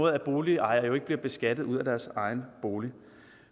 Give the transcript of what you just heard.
at boligejere ikke bliver beskattet ud af deres egen bolig